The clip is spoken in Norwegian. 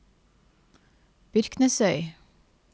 Byrknesøy